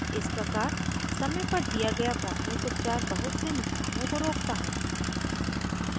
इस प्रकार समय पर दिया गया प्राथमिक उपचार बहुत से नुकसानों को रोकता है